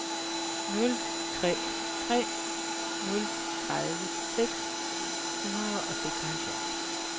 nul tre tre nul tredive seks hundrede og seksoghalvfjerds